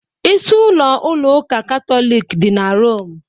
Isi-ụlọ ụlọ ụka Katọlik dị na Rome.